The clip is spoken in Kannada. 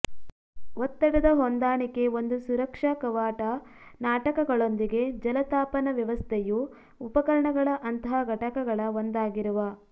ಒತ್ತಡದ ಹೊಂದಾಣಿಕೆ ಒಂದು ಸುರಕ್ಷಾ ಕವಾಟ ನಾಟಕಗಳೊಂದಿಗೆ ಜಲತಾಪನವ್ಯವಸ್ಥೆಯು ಉಪಕರಣಗಳ ಅಂತಹ ಘಟಕಗಳ ಒಂದಾಗಿರುವ